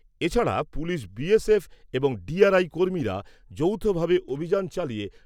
এছাড়া পুলিশ এবং কর্মীরা যৌথভাবে অভিযান চালিয়ে